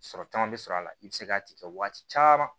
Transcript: Sɔrɔ caman bɛ sɔrɔ a la i bɛ se k'a tigɛ waati caman